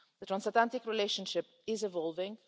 The transatlantic relationship is evolving.